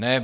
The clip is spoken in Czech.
Ne.